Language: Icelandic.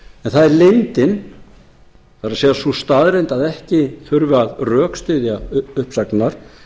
það er leyndin það er sú staðreynd að ekki þurfi að rökstyðja uppsagnir